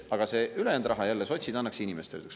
Aga selle ülejäänud raha sotsid annaks inimestele.